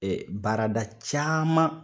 baarada caman.